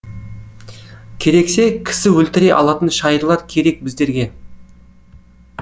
керексе кісі өлтіре алатын шайырлар керек біздерге